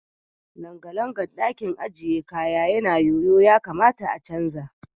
Langalangan ɗakin ajiye kaya yana yoyo ya kamata a canza.